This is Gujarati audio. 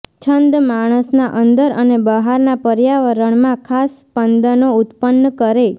છંદ માણસના અંદર અને બહારના પર્યાવરણમાં ખાસ સ્પંદનો ઉત્પન્ન કરે